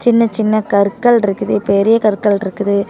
சின்ன சின்ன கற்கள் இருக்குது பெரிய கற்கள் இருக்குது.